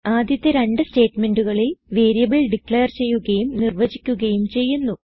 ആദ്യത്തെ രണ്ട് സ്റ്റേറ്റ്മെന്റുകളിൽ വേരിയബിൾ ഡിക്ലെയർ ചെയ്യുകയും നിർവചിക്കുകയും ചെയ്യുന്നു